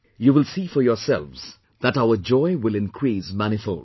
You will see for yourselves that our joy will increase manifold